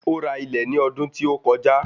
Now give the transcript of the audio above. Ó ra ilẹ̀ ní ọdún tí ó kọjá.